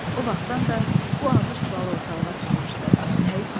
O vaxtdan da bu ağır sual ortalığa çıxmışdı: Nə etməli?